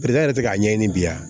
tɛ k'a ɲɛɲini bi wa